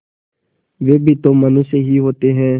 वे भी तो मनुष्य ही होते हैं